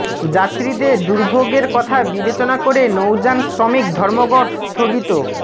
যাত্রীদের দুর্ভোগের কথা বিবেচনা করে নৌযান শ্রমিক ধর্মঘট স্থগিত